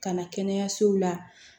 Ka na kɛnɛyasow la